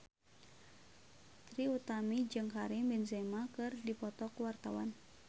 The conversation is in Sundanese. Trie Utami jeung Karim Benzema keur dipoto ku wartawan